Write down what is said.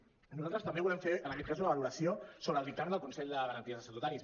nosaltres també volem fer en aquest cas una valoració sobre el dictamen del consell de garanties estatutàries